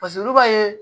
olu b'a ye